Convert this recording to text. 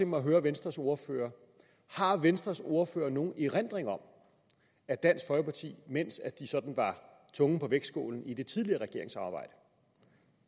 mig at høre venstres ordfører har venstres ordfører nogen erindring om at dansk folkeparti mens de sådan var tungen på vægtskålen i det tidligere regeringssamarbejde